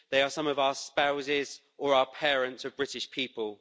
They are some of our spouses or parents of British people.